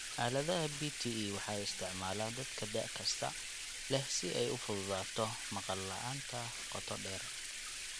Aaladaha BTE waxaa isticmaala dadka da' kasta leh si ay u fududaato maqal la'aanta qoto dheer.